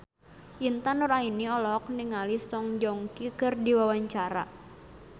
Intan Nuraini olohok ningali Song Joong Ki keur diwawancara